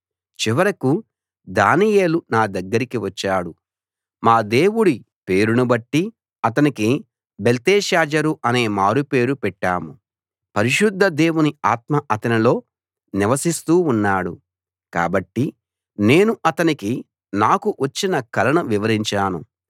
చివరకు దానియేలు నా దగ్గరికి వచ్చాడు మా దేవుడి పేరునుబట్టి అతనికి బెల్తెషాజరు అనే మారుపేరు పెట్టాము పరిశుద్ధ దేవుని ఆత్మ అతనిలో నివసిస్తూ ఉన్నాడు కాబట్టి నేను అతనికి నాకు వచ్చిన కలను వివరించాను